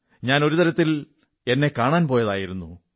ഞാൻ ഒരു തരത്തിൽ എന്നെ കാണാൻ പോയതായിരുന്നു